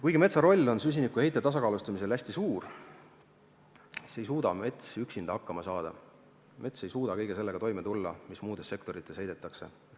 Kuigi metsa roll süsinikuheite tasakaalustamisel on hästi suur, ei suuda mets üksinda hakkama saada, mets ei suuda kõige sellega toime tulla, mis muudes sektorites õhku heidetakse.